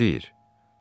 Nə deyir?